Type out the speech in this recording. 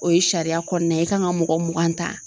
O ye sariya kɔɔna ye i kan ŋa mɔgɔ mugan ta.